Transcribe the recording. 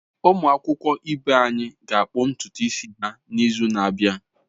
Ụmụ akwụkwọ ibe anyị ga-akpụ ntutu isi ha n’izu na-abịa.